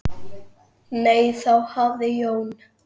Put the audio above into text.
Nei, þá hafði Jón